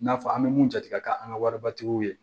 N'a fɔ an bɛ mun jate ka an ka waribatigiw ye